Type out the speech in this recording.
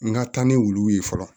N ka taa ni wuluw ye fɔlɔ